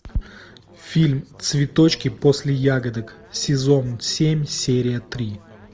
фильм цветочки после ягодок сезон семь серия три